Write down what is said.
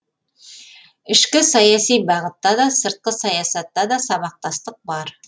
ішкі саяси бағытта да сыртқы саясатта да сабақтастық бар